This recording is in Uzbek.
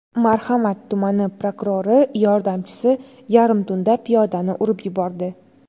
Marhamat tumani prokurori yordamchisi yarim tunda piyodani urib yubordi.